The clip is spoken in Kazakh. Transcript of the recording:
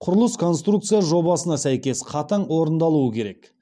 құрылыс конструкция жобасына сәйкес қатаң орындалуы керек